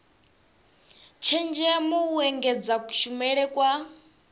tshenzhemo u engedza kushumele kwa